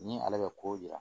Ni ale bɛ kow yira